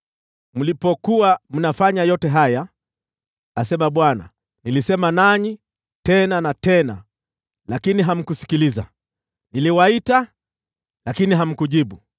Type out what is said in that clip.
Mlipokuwa mnafanya yote haya, asema Bwana , nilisema nanyi tena na tena, lakini hamkusikiliza; niliwaita, lakini hamkujibu.